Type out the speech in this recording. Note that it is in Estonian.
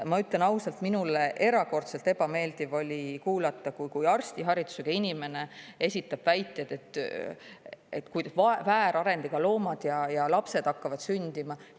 Ma ütlen ausalt, mul oli erakordselt ebameeldiv kuulata, kui arstiharidusega inimene esitab väiteid, et väärarendiga loomad ja lapsed hakkavad sündima.